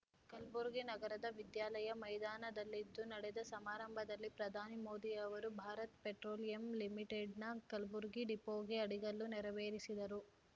ಕಲ್ಬುರ್ಗಿ ನಗರದ ವಿದ್ಯಾಲಯ ಮೈದಾನದಲ್ಲಿಂದು ನಡೆದ ಸಮಾರಂಭದಲ್ಲಿ ಪ್ರಧಾನಿ ಮೋದಿಯವರು ಭಾರತ್ ಪೆಟ್ರೋಲಿಯಂ ಲಿಮಿಟೆಡ್‌ನ ಕಲ್ಬುರ್ಗಿ ಡಿಪೋಗೆ ಅಡಿಗಲ್ಲು ನೆರವೇರಿಸಿದರು